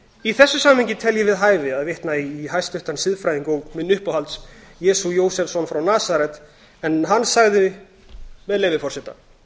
í þessu samhengi tel ég við hæfi að vitna í hæstvirtan siðfræðing og minn uppáhalds jesú jósefsson frá nasaret en hann sagði með leyfi forseta